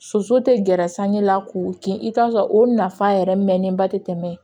Soso tɛ gɛrɛ san ɲɛ la k'u kin i bɛ t'a sɔrɔ o nafa yɛrɛ mɛnnen ba tɛ tɛmɛ